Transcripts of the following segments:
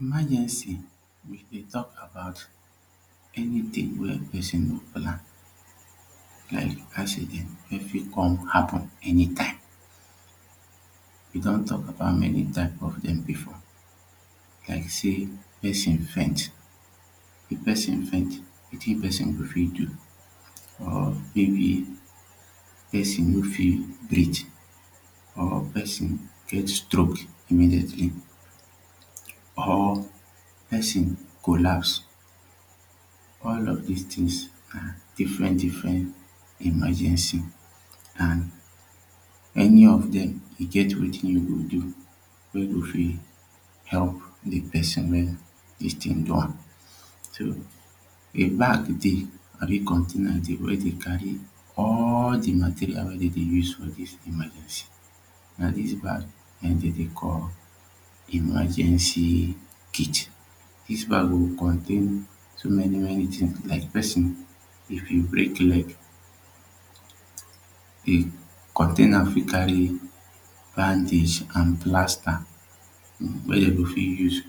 Emagency We dey talk about anything wey person go lack like accident wey fit come happen anytime. We don talk about many type of dem before like say person faint. If person faint wetin pesin go fit do or maybe person no fit breath or person get stroke immediately or person collapse all of this things na different different emergency and any of them e get wetin you go do wey go fit help the person wey this thing do am. So A bag dey abi container wey dey carry all the materials wey dem dey use for this emergency na this back na him dem dey call emergency kit. This bag dey contain so many many things like person if e break leg e container fit carry bandage and plaster wey dem go fit use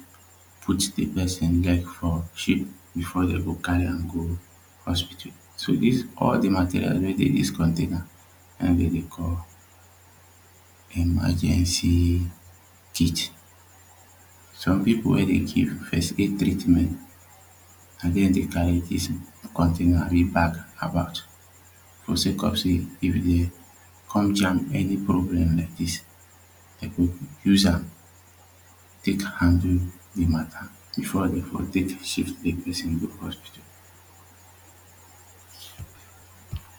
put the person h leg for shape before dem go carry am go hospital so this all the material wey dey this container now na him dem dey call emagency kit some people wey dey give first aid treatment na dem dey carry this container the bag about for sake of say if e come jam any problem like this dem go use am take handle the matter before dem go take shift the person go hospital